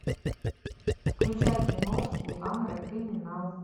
включай киношку жанра криминал